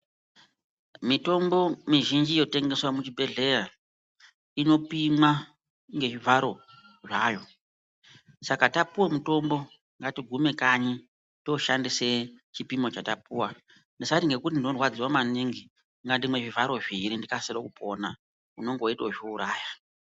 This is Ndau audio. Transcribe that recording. Mitombo mizhinji yotengeswa muchibhehleya inopimwa ngezvivharo zvayo. Saka tapuwe mutombo ngatigume kanyi toshandise chipimo chatapuwa. Tisati ngekuti ndorwadziwa maningi, ngandimwe zvivharo zviiri ndikasire kupona unonge weito zviuraya.